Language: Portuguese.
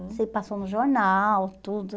sei que passou no jornal, tudo.